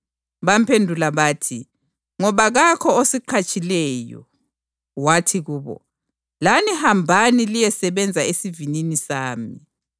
Bamphendula bathi, ‘Ngoba kakho osiqhatshileyo.’ Wathi kubo, ‘Lani hambani liyesebenza esivinini sami.’